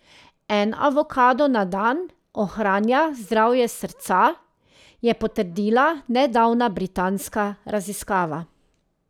En avokado na dan ohranja zdravje srca, je potrdila nedavna britanska raziskava.